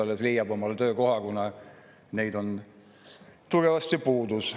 Muidugi ta leiab omale töökoha, kuna neid on tugevasti puudus.